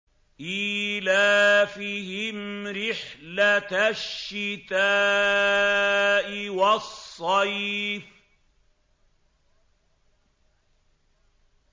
إِيلَافِهِمْ رِحْلَةَ الشِّتَاءِ وَالصَّيْفِ